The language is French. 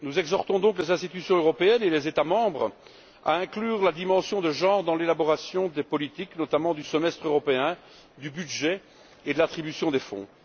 Nous exhortons donc les institutions européennes et les États membres à inclure la dimension de genre dans l'élaboration des politiques, notamment dans le cadre du semestre européen, du budget et de l'attribution des fonds.